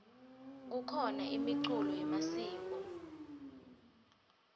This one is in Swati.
kukhona imiculo yemasiko